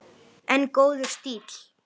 En góður stíll!